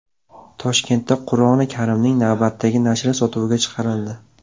Toshkentda Qur’oni Karimning navbatdagi nashri sotuvga chiqarildi .